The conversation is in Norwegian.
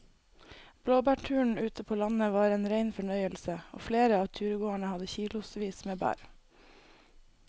Blåbærturen ute på landet var en rein fornøyelse og flere av turgåerene hadde kilosvis med bær.